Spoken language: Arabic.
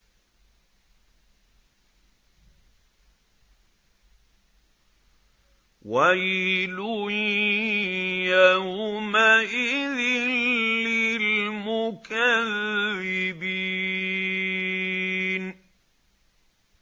وَيْلٌ يَوْمَئِذٍ لِّلْمُكَذِّبِينَ